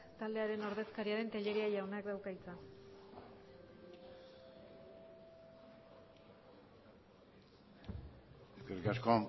taldearen ordezkaria den tellería jaunak dauka hitza eskerrik asko